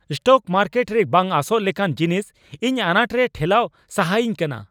Stock market ᱨᱮ ᱵᱟᱝ ᱟᱸᱥᱚᱜ ᱞᱮᱠᱟᱱ ᱡᱤᱱᱤᱥ ᱤᱧ ᱟᱱᱟᱴ ᱨᱮᱭ ᱴᱷᱮᱞᱟᱣ ᱥᱟᱦᱟᱤᱧ ᱠᱟᱱᱟ ᱾